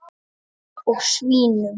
Og svínum.